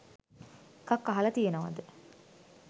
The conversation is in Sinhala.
එකක් අහල තියෙනවද?